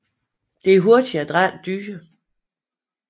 Det er hurtige og adrætte dyr